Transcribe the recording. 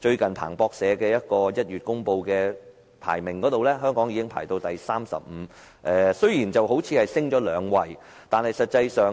最近，彭博社在1月公布全球最具創新力的經濟體排名，香港排名第三十五位，上升了兩位，但實際上